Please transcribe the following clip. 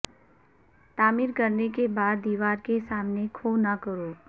تعمیر کرنے کے بعد دیوار کے سامنے کھو نہ کرو